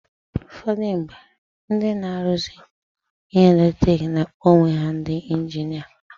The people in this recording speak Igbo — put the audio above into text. Ụfọdụ mgbe, ndị na-aruzi ihe eletiriki na-akpọ onwe ha ndi injinia.